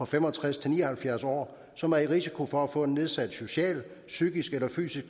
fem og tres til ni og halvfjerds år som er i risiko for at få en nedsat social psykisk eller fysisk